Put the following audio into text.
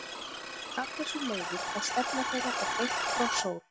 Af þessu leiðir að stefna þeirra er beint frá sól.